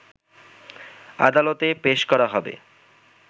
আদালতে পেশ করা হবে